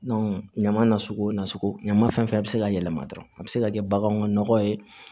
ɲaman nasugu nasugu ɲama fɛn fɛn bɛ se ka yɛlɛma dɔrɔn a bɛ se ka kɛ baganw ka nɔgɔ ye